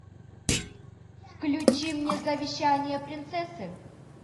включи мне завещание принцессы